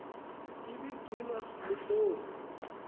ibi gcinwa luhloni